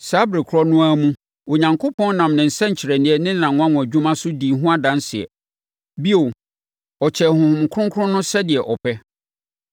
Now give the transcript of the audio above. Saa ɛberɛ korɔ no ara mu Onyankopɔn nam ne nsɛnkyerɛnneɛ ne nʼanwanwadwuma so dii ho adanseɛ. Bio, ɔkyɛɛ Honhom Kronkron no sɛdeɛ ɔpɛ.